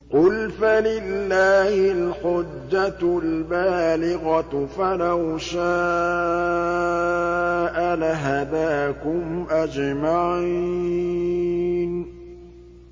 قُلْ فَلِلَّهِ الْحُجَّةُ الْبَالِغَةُ ۖ فَلَوْ شَاءَ لَهَدَاكُمْ أَجْمَعِينَ